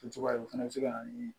Cogoya o fana bɛ se ka na ni